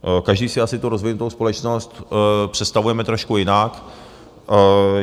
Každý si asi tu rozvinutou společnost představujeme trošku jinak.